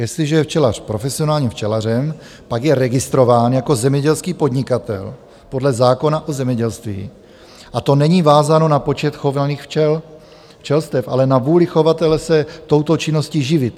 Jestliže je včelař profesionálním včelařem, pak je registrován jako zemědělský podnikatel podle zákona o zemědělství a to není vázáno na počet chovaných včelstev, ale na vůli chovatele se touto činností živit.